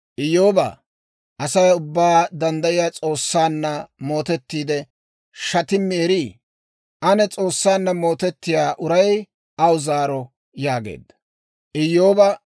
«Iyyoobaa, Asay Ubbaa Danddayiyaa S'oossaanna mootettiide, shatimmi erii? Ane S'oossaanna mootettiyaa uray aw zaaro» yaageedda.